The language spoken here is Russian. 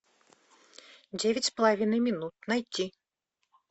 девять с половиной минут найти